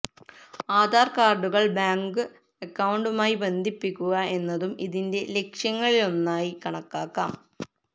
ആധാര് കാര്ഡുകള് ബാങ്ക് അക്കൌണ്ടുമായി ബന്ധിപ്പിക്കുക എന്നതും ഇതിന്റെ ലക്ഷ്യങ്ങളിലൊന്നായി കണക്കാക്കാം